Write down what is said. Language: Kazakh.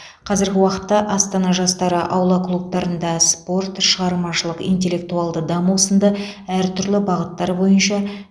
қазіргі уақытта астана жастары аула клубтарында спорт шығармашылық интеллектуалды даму сынды әртүрлі бағыттар бойынша